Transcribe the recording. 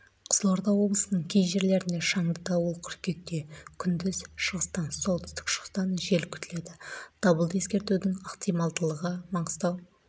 қызылорда облысының кей жерлерінде шаңды дауыл қыркүйекте күндіз шығыстан солтүстік-шығыстан жел күтіледі дабылды ескертудің ықтималдылығы маңғыстау